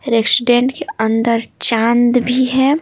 Resident के अंदर चांद भी है।